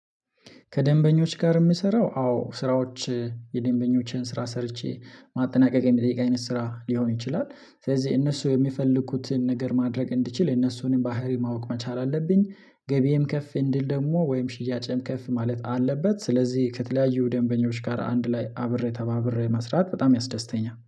ከደንበኞች ጋር የምሰራው አዎ ስራዎች የደንበኞችን ስራ ሰርቼ ማጠናቀቅ የሚጠይቅ አይነት ስራ ሊሆን ይችላል ስለዚህ እነሱ የሚፈልኩትን ነገር ማድረግ እንድችል እነሱንም ባህሪ ማወቅ መቻል አለብኝ። ገቢም ከፍ እንዲል ደግሞ ወይም ሽያጭም ከፍ ማለት አለበት። ስለዚህ ከተለያዩ ደንበኞች ጋር አንድ ላይ አብሬ ተባብሬ መስራት በጣም ያስደስተኛ